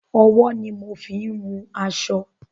Ọwọ́ ni mo ń fín wun aṣọ.